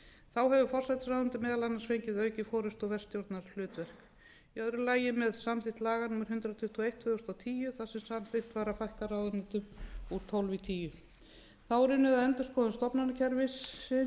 þá hefur forsætisráðuneytið meðal annars fengið aukið forustu og verkstjórnarhlutverk í öðru lagi með samþykkt laga númer hundrað tuttugu og eitt tvö þúsund og tíu þar sem samþykkt var að fækka ráðuneytum úr tólf í tíu þá er unnið að endurskoðun stofnanakerfisins